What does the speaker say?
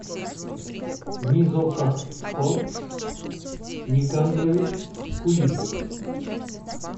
низокатхон никандрович кулиев